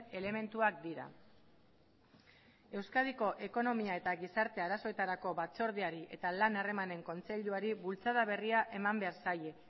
elementuak dira euskadiko ekonomia eta gizarte arazoetarako batzordeari eta lan harremanen kontseiluari bultzada berria eman behar zaie